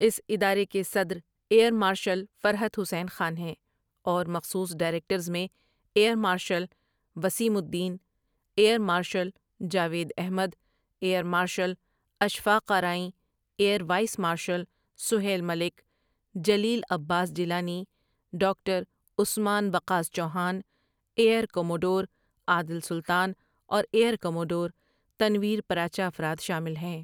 اس ادارے کے صدر ایئر مارشل فرحت حسین خان ہیں اور مخصوص ڈائریکرز میں air marshal Waseem Uddin, air marshal Javed Ahmed, air marshal Ashfaq Arain, air vice marshal Sohail Malik, Jalil Abbas Jilani, doctor Usman Waqas Chauhan, air commodore Adil Sultan اور ایئر کموڈور تنویر پراچا افراد شامل ہیں ۔